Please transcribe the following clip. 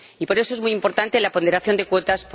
Por eso es muy importante la ponderación de cuotas